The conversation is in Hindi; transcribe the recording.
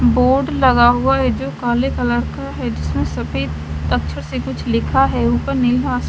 बोर्ड लगा हुआ है जो काले कलर का है जिसमें सफेद अक्षर से कुछ लिखा है ऊपर नेहा--